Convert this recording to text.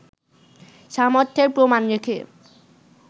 সামর্থ্যের প্রমাণ রেখে